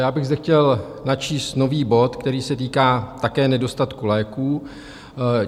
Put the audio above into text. Já bych zde chtěl načíst nový bod, který se týká také nedostatku léků.